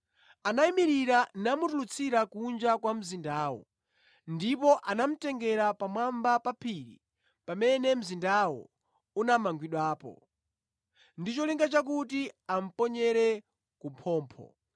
Anayimirira namutulutsira kunja kwa mzindawo, ndipo anamutengera pamwamba pa phiri pamene mzindawo unamangidwapo, ndi cholinga chakuti amuponyere ku phompho.